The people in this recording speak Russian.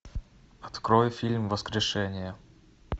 открой фильм воскрешение